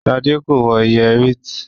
Shade ko wọ Yẹrí et.